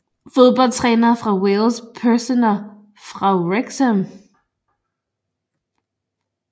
Fodboldtrænere fra Wales Personer fra Wrexham